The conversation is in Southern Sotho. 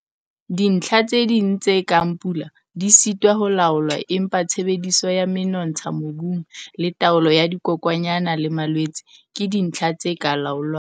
Dintlha tse ding tse kang pula di sitwa ho laolwa empa tshebediso ya menontsha mobung le taolo ya dikokwanyana le malwetse ke dintlha tse ka laolwang.